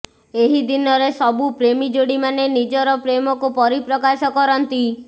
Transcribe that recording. ଏହି ଦିନରେ ସବୁ ପ୍ରେମୀ ଯୋଡି ମାନେ ନିଜର ପ୍ରେମକୁ ପରିପ୍ରକାଶ କରନ୍ତି